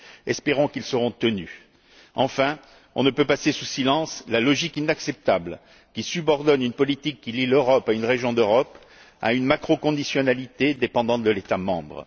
Espérons qu'ils seront tenus. Enfin, on ne peut passer sous silence la logique inacceptable, qui subordonne une politique qui lie l'Europe à une région d'Europe, à une macro conditionnalité dépendant de l'État membre.